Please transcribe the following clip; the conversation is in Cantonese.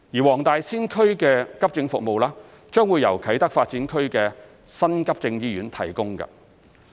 黃大仙區的急症服務將會由啟德發展區的新急症醫院提供。